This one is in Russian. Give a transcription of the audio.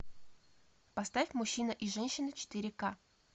поставь мужчина и женщина четыре ка